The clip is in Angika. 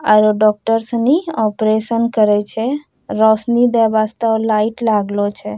आउरु डॉक्टर सनी ऑपरेशन करे छै रौशनी दे वास्ता लाइट लागलो छै।